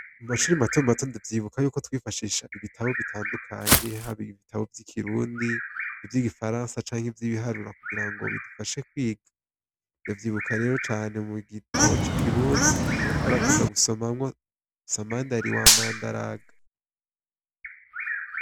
Mumashure mato mato ndavyibuka yuko twifashisha ibitabo bitandukanye haba ibitabo vy'Ikirundi, ivyigifaransa canke ivyibiharuro kugirango bidufashe kwiga, ndavyibuka rero cane mugitabo c'ikirundi twarakunda gusomamwo Samandari wamandaraga.